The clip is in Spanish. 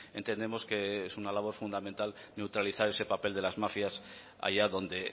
entendemos que es una labor fundamental neutralizar ese papel de las mafias allá donde